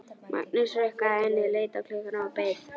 Magnús hrukkaði ennið, leit á klukkuna og beið.